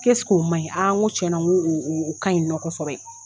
Ko o man ɲi n ko cɛn na o o o ka ɲi nɔ kosɛbɛ.